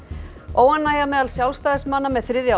óánægja meðal Sjálfstæðismanna með þriðja